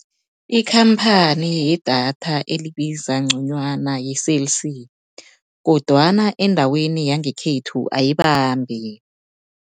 Ikhamphani yedatha elibiza nconywana yi-Cell C, kodwana endaweni yangekhethu ayibambi.